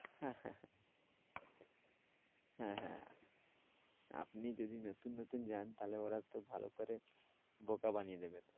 হ্যাঁ, হ্যাঁ, হ্যাঁ হ্যাঁ, হ্যাঁ আপনি যদি নতুন নতুন যান তা হলে ওরা তো ভালো করে বোকা বানিয়ে দেবে